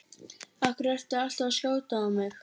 Af hverju ertu alltaf að skjóta á mig?